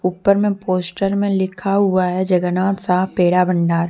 ऊपर में पोस्टर में लिखा हुआ है जगन्नाथ साह पेड़ा भंडार।